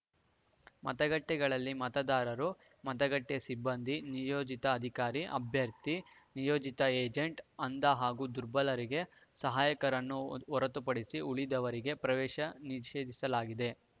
ಮತಗಟ್ಟೆಗಳಿಗೆ ಮತದಾರರು ಮತಗಟ್ಟೆಸಿಬ್ಬಂದಿ ನಿಯೋಜಿತ ಅಧಿಕಾರಿ ಅಭ್ಯರ್ಥಿ ನಿಯೋಜಿತ ಏಜೆಂಟ್‌ ಅಂಧ ಹಾಗೂ ದುರ್ಬಲರಿಗೆ ಸಹಾಯಕರನ್ನು ಹೊರತುಪಡಿಸಿ ಉಳಿದವರಿಗೆ ಪ್ರವೇಶ ನಿಷೇಧಿಸಲಾಗಿದೆ